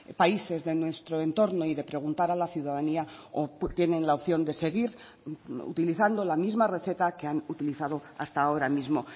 países de nuestro entorno y de preguntar a la ciudadanía o tienen la opción de seguir utilizando la misma receta que han utilizado hasta ahora mismo